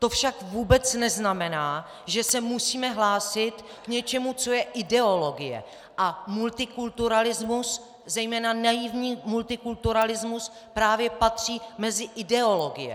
To však vůbec neznamená, že se musíme hlásit k něčemu, co je ideologie, a multikulturalismus, zejména naivní multikulturalismus, právě patří mezi ideologie.